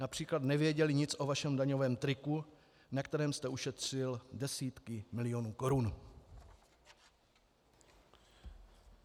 Například nevěděli nic o vašem daňovém triku, na kterém jste ušetřil desítky milionů korun.